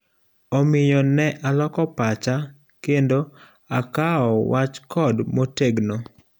Omiyo ne aloko pacha kendo akawo wach code motegno.